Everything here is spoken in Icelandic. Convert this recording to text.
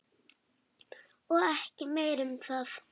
Og ekki meira um það!